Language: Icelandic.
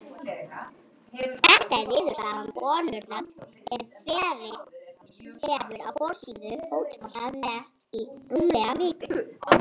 Þetta er niðurstaða könnunar sem verið hefur á forsíðu Fótbolta.net í rúmlega viku.